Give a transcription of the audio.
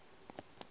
be ke se ka phoša